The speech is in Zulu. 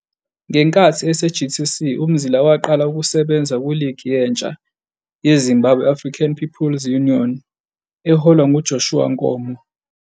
Ngenkathi ese-GTC uMzila waqala ukusebenza kuligi yentsha yeZimbabwe African People's Union, ZAPU, eholwa nguJoshua Nkomo.